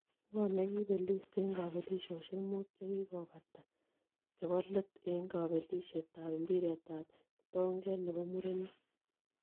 Ngo' negipelis eng' kapelisiosiek mut chegigobata chebolet eng' kabelisiet ab mpiretap kitonget ne po murenik.